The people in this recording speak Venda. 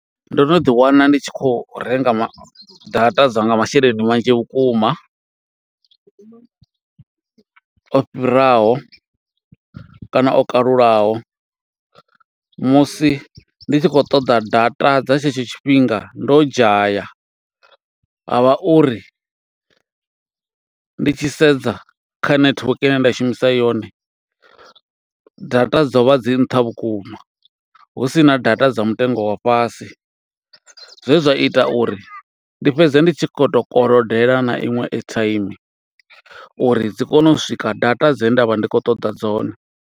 Ndo no ḓi wana ndi tshi khou renga data, dza nga masheleni manzhi vhukuma, o fhiraho kana o kalulaho. Musi ndi tshi khou ṱoḓa data dza tshetsho tshifhinga, ndo dzhaya, ha vha uri ndi tshi sedza kha nethiweke ine nda shumisa yone, data dzo vha dzi nṱha vhukuma, hu sina data dzo dza mutengo wa fhasi. Zwe zwa ita uri, ndi fhedze ndi tshi khou to kolodela na iṅwe airtime, uri dzi kone u swika data dze nda vha ndi khou ṱoḓa dzone.